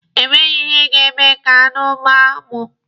E nweghi ihe ga-eme ka aṅụ gbaa mụ.